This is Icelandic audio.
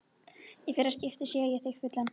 Í fyrsta skipti sé ég þig fullan.